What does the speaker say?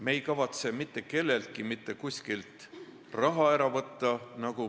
Me ei kavatse mitte kelleltki mitte kuskilt raha ära võtta.